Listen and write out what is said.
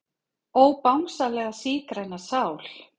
Ó Bangsalega sígræna sál.